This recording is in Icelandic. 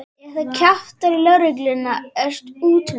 Ef þú kjaftar í lögregluna er úti um þig.